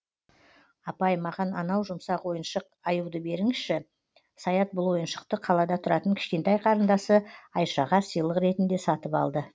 апай маған анау жұмсақ ойыншық аюды беріңізші саят бұл ойыншықты қалада тұратын кішкентай қарындасы айшаға сыйлық ретінде сатып алды